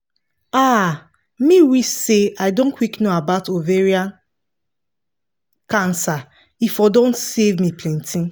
ah me wish say i don quick know about ovarian cancer e for don save me me plenty